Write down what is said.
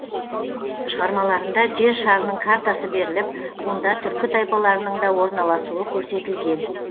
шығармаларында жер шарының картасы беріліп онда түркі тайпаларының да орналасуы көрсетілген